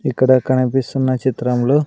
ఇక్కడ కనిపిస్తున్న చిత్రంలో--